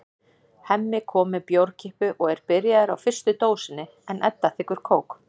Hemmi kom með bjórkippu og er byrjaður á fyrstu dósinni en Edda þiggur kók.